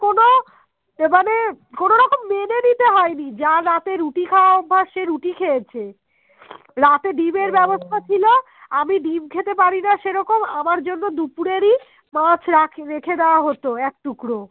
আমি ডিম্ খেতে পারিনা সেরকম আমার জন্যে দুপুরেই মাছ রেখে দেয়া হতো এক টুকরো